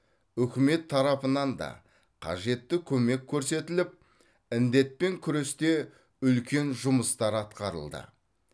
үкімет тарапынан да қажетті көмек көрсетіліп індетпен күресте үлкен жұмыстар атқарылды